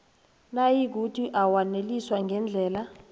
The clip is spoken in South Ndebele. nayikuthi awaneliswa ngendlela